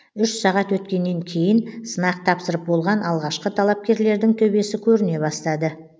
үш сағат өткеннен кейін сынақ тапсырып болған алғашқы талапкерлердің төбесі көріне бастады